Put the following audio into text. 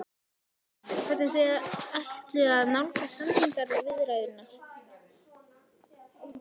Höskuldur: Hvernig þið ætluðuð að nálgast samningaviðræðurnar?